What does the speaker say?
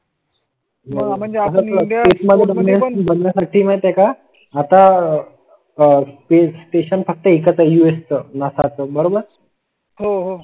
साठी माहित आहे का? आता आह स्पेस स्टेशन फक्त एकच आहे US च नासा च बरोबर हो हो.